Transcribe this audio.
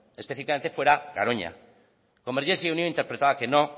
específicamente fuera garoña convergencia y unió interpretaba que no